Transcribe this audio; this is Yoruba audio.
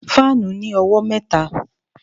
Fáànù ní owó mẹ́ta